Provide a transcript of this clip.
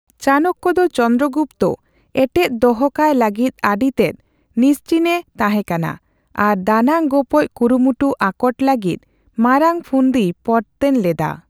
ᱪᱟᱱᱚᱠᱠᱚ ᱫᱚ ᱪᱚᱱᱫᱨᱚᱜᱩᱯᱛᱚ ᱮᱴᱮᱫ ᱫᱚᱦᱚ ᱠᱟᱭ ᱞᱟᱹᱜᱤᱫ ᱟᱹᱰᱤ ᱛᱮᱫ ᱱᱤᱥᱪᱤᱱᱮ ᱛᱦᱮᱠᱟᱱᱟ ᱟᱨ ᱫᱟᱱᱟᱝ ᱜᱚᱯᱚᱡᱽ ᱠᱩᱨᱩᱢᱩᱴᱩ ᱟᱠᱚᱴ ᱞᱟᱹᱜᱤᱫ ᱢᱟᱨᱟᱝ ᱯᱷᱩᱱᱫᱤᱭ ᱯᱚᱨᱛᱚᱱ ᱞᱮᱫᱟ ᱾